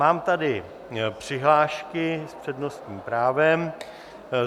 Mám tady přihlášky s přednostním právem.